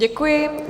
Děkuji.